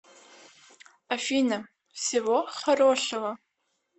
афина всего хорошего